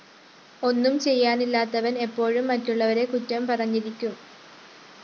ഒന്നും ചെയ്യാനില്ലത്തവന്‍ എപ്പോഴും മറ്റുള്ളവരെ കുറ്റം പറഞ്ഞിട്ടേയിരിക്കും